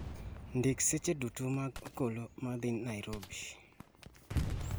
ndik seche duto mag gach okoloma dhi Nairobi